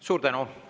Suur tänu!